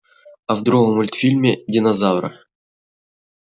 а в другом мультфильме динозавра